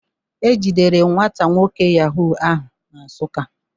E jidere nwata nwoke Yahoo ahụ na Nsuka.